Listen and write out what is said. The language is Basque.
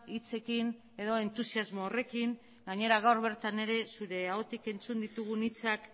hitzekin edo entusiasmo horrekin gainera gaur bertan ere zure ahotik entzun ditugun hitzak